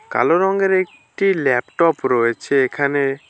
কালো রঙের একটি ল্যাপটপ রয়েছে এখানে।